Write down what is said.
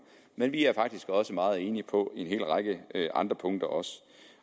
men vi er faktisk også meget enige på en hel række andre punkter og